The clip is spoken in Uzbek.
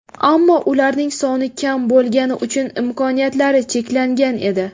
Ammo ularning soni kam bo‘lgani uchun imkoniyatlari cheklangan edi.